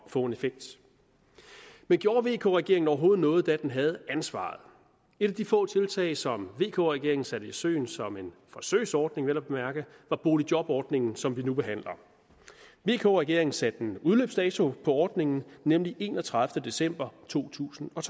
få en effekt men gjorde vk regeringen overhovedet noget da den havde ansvaret et af de få tiltag som vk regeringen satte i søen som en forsøgsordning vel at mærke var boligjobordningen som vi nu behandler vk regeringen satte en udløbsdato på ordningen nemlig enogtredivete december to tusind og